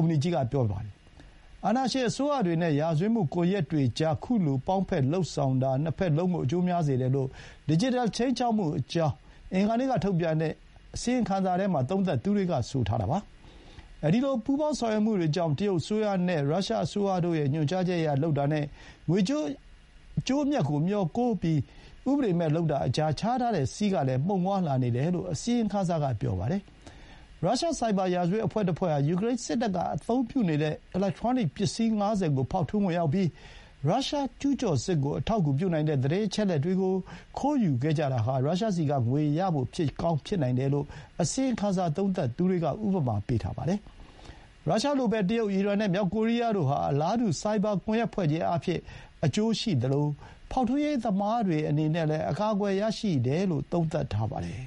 မ္ပဏီကြီးက ပြောပါတယ်။ အာဏာရှင်အစိုးရတွေနဲ့ ရာဇဝတ်မှုကွန်ယက်တွေကြား ခုလို ပေါင်းဖက်လုပ်ဆောင်တာ နှစ်ဘက်လုံးကို အကျိုးများစေတယ်လို့ ဒစ်ဂျစ်တယ်ခြိမ်းခြောက်မှုအကြောင်း အင်္ဂါနေ့က ထုတ်ပြန်တဲ့အစီရင်ခံစာမှာ သုံးသပ်သူတွေက ဆိုပါတယ်။ အဲဒီလို ပူးပေါင်းဆောင်ရွက်မှုတွေကြောင့် တရုတ်အစိုးရနဲ့ ရုရှား အစိုးရတို့ရဲ့ ညွှန်ကြားချက်အရ လုပ်တာနဲ့ ငွေကြေးအကျိုးအမြတ်ကိုမျှော်ကိုး၊ ဥပဒေမဲ့လုပ်တာကြား ခြားထားတဲ့စည်းကလည်း မှုန်ဝါးလာနေတယ်လို့ အစီရင်ခံစာက ပြောပါတယ်။ ရုရှားဆိုက်ဘာ ရာဇဝတ်အဖွဲ့တဖွဲ့ဟာ ယူကရိန်းစစ်တပ်ကအသုံးပြုနေတဲ့ အီလက်ထရောနစ်ပစ္စည်း ၅၀ ကို ဖောက်ထွင်းဝင်ရောက်ပြီး ရုရှားကျူးကျော်စစ်ကို အထောက်အကူပြုနိုင်တဲ့ သတင်းအချက်အလက်တွေကို ခိုးယူခဲ့ကြတာဟာ ရုရှားဆီကငွေရဖို့ ဖြစ်ကောင်းဖြစ်နိုင်တယ်လို့ အစီရင်ခံစာသုံးသပ်သူတွေက ဥပမာ ပေးပါတယ်။ ရုရှားလိုပဲ၊ တရုတ်၊ အီရန်နဲ့ မြောက်ကိုရီးယားတို့ဟာ အလားတူ ဆိုက်ဘာကွန်ယက်ဖွဲ့ခြင်းအားဖြင့် အကျိုးရှိသလို ဖောက်ထွင်းရေးသမားတွေအနေနဲ့လည်း အကာအကွယ်ရရှိတယ်လို့ သုံးသပ်ထားပါတယ်။